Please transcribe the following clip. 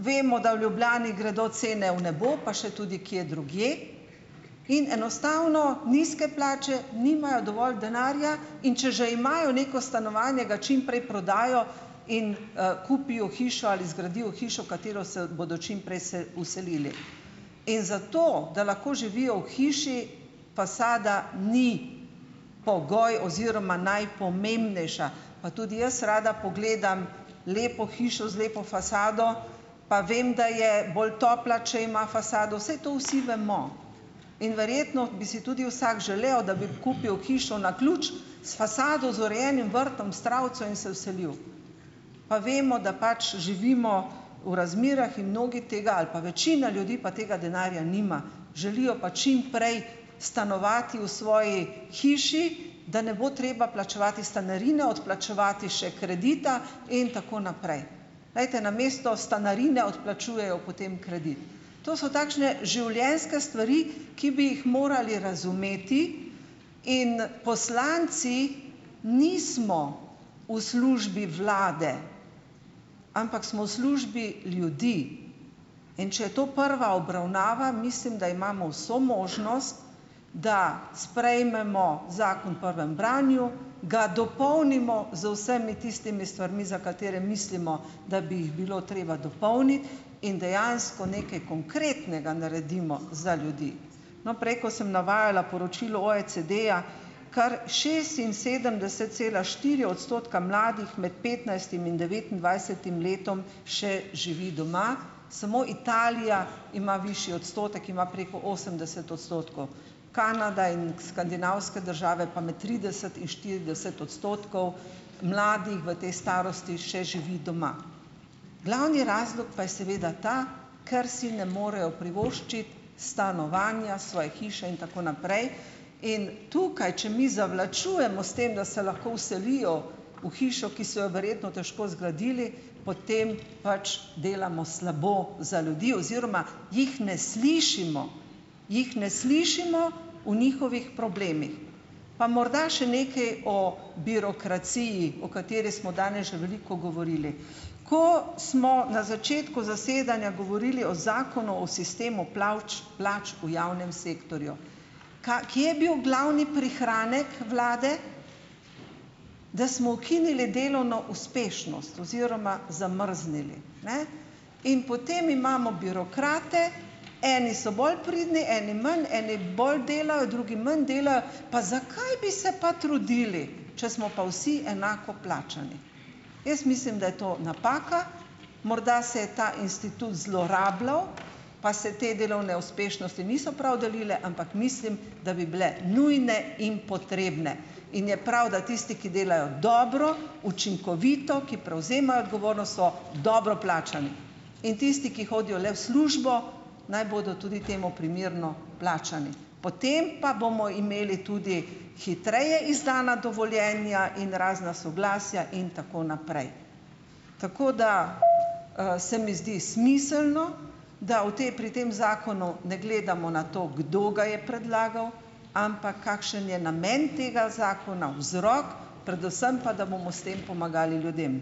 vemo, da v Ljubljani gredo cene v nebo pa še tudi kje drugje in enostavno nizke plače, nimajo dovolj denarja. In če že imajo neko stanovanje, ga čim prej prodajo in, kupijo hišo, ali zgradijo hišo, v katero se bodo čim prej vselili. In zato, da lahko živijo v hiši, fasada ni pogoj oziroma najpomembnejša pa tudi jaz rada pogledam lepo hišo z lepo fasado pa vem, da je bolj topla, če ima fasado, saj to vsi vemo. In verjetno bi si tudi vsak želel, da bi kupil hišo na ključ, s fasado, z urejenim vrtom, s travico in se vselil. Pa vemo, da pač živimo v razmerah in mnogi tega, ali pa večina ljudi, pa tega denarja nima. Želijo pa čim prej stanovati v svoji hiši, da ne bo treba plačevati stanarine, odplačevati še kredita in tako naprej. Glejte. Namesto stanarine odplačujejo potem kredit. To so takšne življenjske stvari, ki bi jih morali razumeti, in poslanci nismo v službi vlade, ampak smo v službi ljudi. In če je to prva obravnava, mislim, da imamo vso možnost, da sprejmemo zakon prvem branju, ga dopolnimo z vsemi tistimi stvarmi, za katere mislimo, da bi jih bilo treba dopolniti in dejansko nekaj konkretnega naredimo za ljudi. No, prej, ko sem navajala poročilo OECD-ja, kar šestinsedemdeset cela štiri odstotka mladih med petnajstim in devetindvajsetim letom še živi doma, samo Italija ima višji odstotek, ima preko osemdeset odstotkov. Kanada in skandinavske države pa med trideset in štirideset odstotkov mladih v tej starosti še živi doma. Glavni razlog pa je seveda ta, ker si ne morejo privoščiti stanovanja, svoje hiše in tako naprej. In tukaj, če mi zavlačujemo s tem, da se lahko vselijo v hišo, ki so jo verjetno težko zgradili, potem pač delamo slabo za ljudi oziroma jih ne slišimo. Jih ne slišimo v njihovih problemih. Pa morda še nekaj o birokraciji, o kateri smo danes že veliko govorili. Ko smo na začetku zasedanja govorili o zakonu o sistemu plavč plač v javnem sektorju, ka kje je bil glavni prihranek vlade? Da smo ukinili delovno uspešnost oziroma zamrznili, ne. In potem imamo birokrate - eni so bolj pridni, eni manj, eni bolj delajo, drugi manj delajo - pa zakaj bi se pa trudili, če smo pa vsi enako plačani. Jaz mislim, da je to napaka. Morda se je ta institut zlorabljal pa se te delovne uspešnosti niso prav delile, ampak mislim, da bi bile nujne in potrebne. In je prav, da tisti, ki delajo dobro, učinkovito, ki prevzemajo odgovornost, so dobro plačani. In tisti, ki hodijo le v službo, naj bodo tudi temu primerno plačani. Potem pa bomo imeli tudi hitreje izdana dovoljenja in razna soglasja in tako naprej. Tako da, se mi zdi smiselno, da v pri tem zakonu ne gledamo na to, kdo ga je predlagal, ampak kakšen je namen tega zakona, vzrok, predvsem pa, da bomo s tem pomagali ljudem.